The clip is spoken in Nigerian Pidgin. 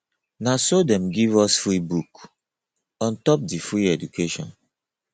na so dem give us free book on top di free education